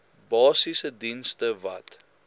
basiese dienste wat